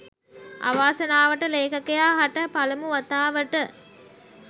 අවාසනාවට ලේඛකයා හට පළමු වතාවට